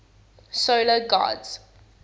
solar gods